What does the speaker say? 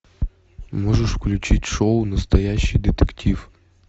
можешь включить шоу настоящий детектив